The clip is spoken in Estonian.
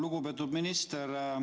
Lugupeetud minister!